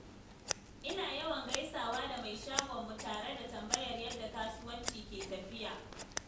Ina yawan gaisawa da mai shagonmu tare da tambayar yadda kasuwanci ke tafiya.